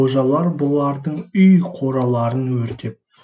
қожалар бұлардың үй қораларын өртеп